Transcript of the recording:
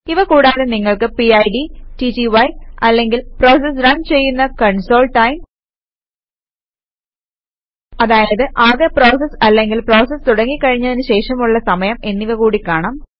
ഇവ കൂടാതെ നിങ്ങൾക്ക് പിഡ് ടിടിവൈ അല്ലങ്കിൽ പ്രോസസ് റൺ ചെയ്യുന്ന കൺസോൾTIME അതായത് ആകെ പ്രോസസ് അല്ലെങ്കിൽ പ്രോസസ് തുടങ്ങി കഴിഞ്ഞതിനു ശേഷമുള്ള സമയം എന്നിവ കൂടി കാണാം